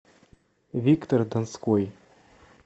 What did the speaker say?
виктор донской